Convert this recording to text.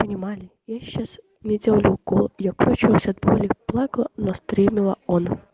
понимали я сейчас видел руку я кручусь отправили плакала на стриме лоо